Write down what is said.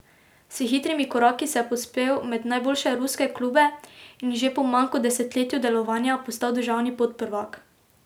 S hitrimi koraki se je povzpel med najboljše ruske klube in že po manj kot desetletju delovanja postal državni podprvak.